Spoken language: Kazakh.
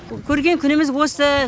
көрген күніміз осы